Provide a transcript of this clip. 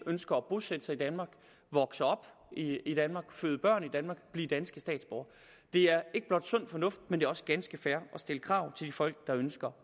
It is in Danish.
og ønsker at bosætte sig i danmark vokse op i danmark føde børn i danmark blive danske statsborgere det er ikke blot sund fornuft men det er også ganske fair at stille krav til de folk der ønsker